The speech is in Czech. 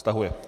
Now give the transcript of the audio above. Stahuje.